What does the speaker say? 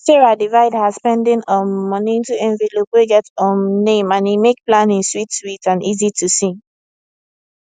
sarah divide her spending um money into envelope wey get um name and e make planning sweet sweet and easy to see